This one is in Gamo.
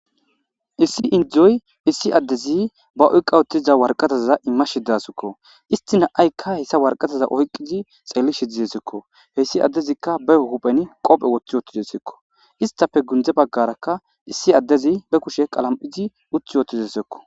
issi indzuzoy issi addezi ba oyqqa wotiza warqataza imma shidasikko istina aykka hessa warqataza oyqizi xeeli shidizesekko heyssi addezikka be huphen qophe woththi wootidesekko istafe gundze baggarakka issi addezi be kushe qalam7izi wothi wootidesekko